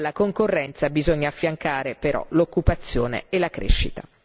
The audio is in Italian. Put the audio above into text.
Alla concorrenza bisogna affiancare però l'occupazione e la crescita.